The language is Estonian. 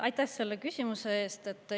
Aitäh selle küsimuse eest!